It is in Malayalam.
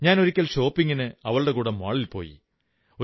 ഞാനൊരിക്കൽ ഷോപ്പിംഗിന് അവളുടെ കൂടെ മാളിൽ പോയി